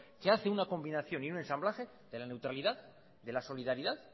que hace una combinación y un ensamblaje de la neutralidad de la solidaridad